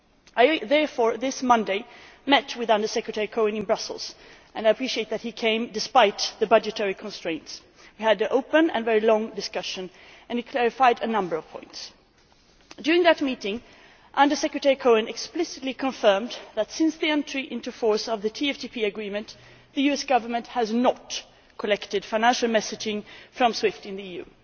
I therefore, this Monday, met with Under Secretary Cohen in Brussels and I appreciate that he came despite the budgetary constraints. We had open and very long discussions and he clarified a number of points. During that meeting, Under Secretary Cohen explicitly confirmed that since the entry into force of the TFTP Agreement the US Government has not collected financial messaging from SWIFT in the EU.